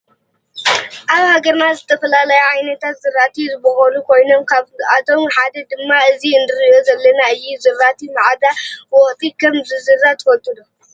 አብ ሃገርና ዝተፈላለዩ ዓይነት ዝራእቲ ዝቦቁሉ ኮይኖም ካብአቶም ሓደ ድማ እዚ እንሪኦ ዘለና እዩ። ዝራእቲ መዓዘ ወቅቲ ከም ዝዝራት ትፈልጡ ዶ